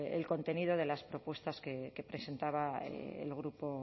el contenido de las propuestas que presentaba